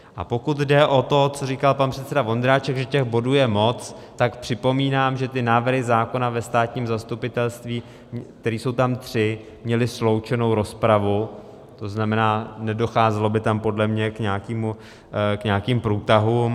A pokud jde o to, co říkal pan předseda Vondráček, že těch bodů je moc, tak připomínám, že ty návrhy zákona o státním zastupitelství, které jsou tam tři, měly sloučenou rozpravu, to znamená, nedocházelo by tam podle mě k nějakým průtahům.